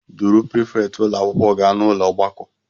Duru prifétị ụlọ akwụkwọ gaa n'ụlọ ọgbakọ